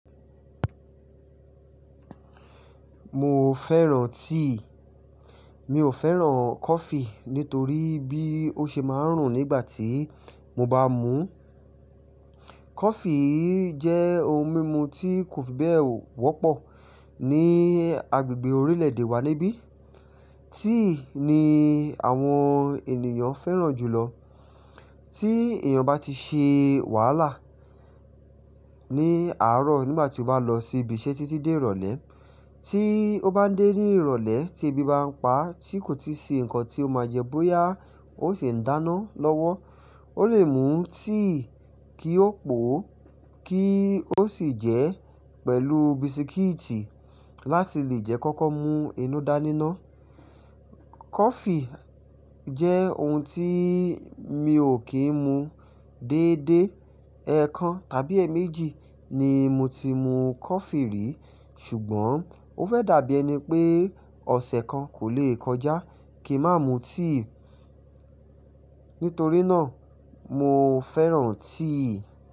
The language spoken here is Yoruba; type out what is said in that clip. Mo fẹ́ràn tíì, mi ò fẹ́ràn coffee nítorí bí ó ṣe máa ń rùn nígbà tí mo bá mú. Coffee jẹ́ ohun mímu tí kò fi bẹ́ẹ̀ wọ́pọ̀ ní agbègbè orílẹ̀ èdè wa níbí. Tíì ni àwọn ènìyàn fẹ́ràn jùlọ. Tí èèyàn bá ti ṣe wàhálà ní àárọ̀ nígbà tí ó bá lọ sí ibi iṣẹ́ tí tí dé ìrọ̀lẹ́, tí ó bá dé ní ìrọ̀lẹ́ tí ebi bá ń pa tí kò tíì ṣe nǹkan tí ó máa jẹ bóyá ó sì ń dáná lọ́wọ́, ó lè mú tíì kí ó pò ó kí ó sì jẹ́ pẹ̀lú bisikíìtì láti lè jẹ́ kó kó mu inú dáníná. Coffee jẹ́ ohun tí mi ò kí ń mu déédé. Ẹ̀ẹ̀kan tàbí èèmejì ni mo ti mú coffee rí. Ṣùgbọ́n ó fẹ́ dàbí ẹni pé ọ̀sẹ̀ kan kò le kọjá kí mà mú tíì. Nítorí náà mo fẹ́ràn tíì.